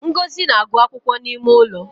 Ngozi na agụ akwụkwọ n’ime ụlọ